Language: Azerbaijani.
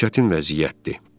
Çox çətin vəziyyətdir.